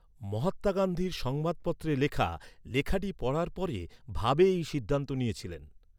মহাত্মা গান্ধীর সংবাদপত্রে লেখা, লেখাটি পড়ার পরে ভাবে এই সিদ্ধান্ত নিয়েছিলেন।